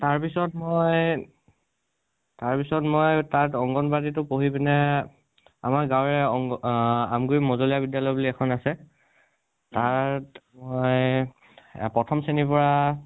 তাৰপিছত মই, তাৰপিছত মই তাত অংগণবাদিটো পঢ়ি পিনে আমাৰ গাঁৱৰে অংগণ আ আমগুৰি মজলীয়া বিদ্যালয় বুলি এখন আছে। তাত মই প্ৰথম শ্ৰেণীৰ পৰা